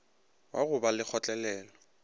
wa go ba le kgotlelelo